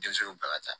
Denmisɛnninw bɛɛ ka ca